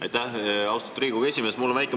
Aitäh, austatud Riigikogu esimees!